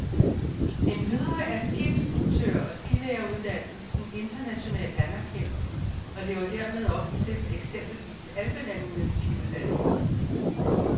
Endvidere er skiinstruktør og skilæreruddannelsen internationalt anerkendt og lever dermed op til eksempelvis alpelandenes skiuddannelse.